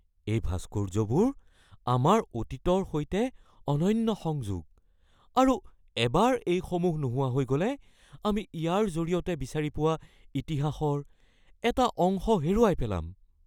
এই ভাস্কৰ্যবোৰ আমাৰ অতীতৰ সৈতে অনন্য সংযোগ, আৰু এবাৰ এইসমূহ নোহোৱা হৈ গ'লে আমি ইয়াৰ জৰিয়তে বিচাৰি পোৱা ইতিহাসৰ এটা অংশ হেৰুৱাই পেলাম।